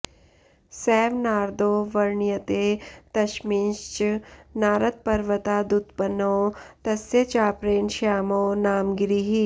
सैव नारदो वर्ण्यते तस्मिंश्च नारदपर्वतादुत्पन्नो तस्य चापरेण श्यामो नाम गिरिः